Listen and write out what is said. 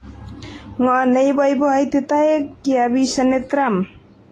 Ngo neipopoiti taek kiapishani Trump?